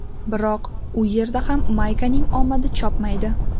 Biroq U yerda ham Maykaning omadi chopmaydi.